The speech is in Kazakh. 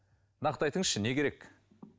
нақты айтыңызшы не керек